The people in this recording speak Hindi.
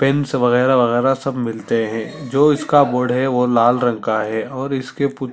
पेंस वगेरा- वगेरा सब मिलते है और जो इसका बोर्ड है वो लाल रंग का है और इसके--